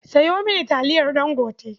Sayo mini taliyar Ɗangote.